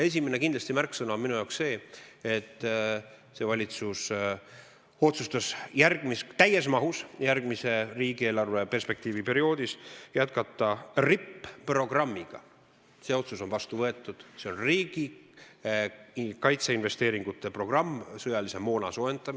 Esimene märksõna on minu arvates see, et see valitsus otsustas järgmisel riigieelarveperioodil täies mahus jätkata RIP-programmiga, see otsus on vastu võetud, riigi kaitseinvesteeringute programmiga sõjamoona soetamiseks.